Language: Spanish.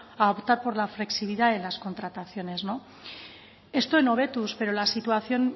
a optar por la flexibilidad de las contrataciones esto en hobetuz pero la situación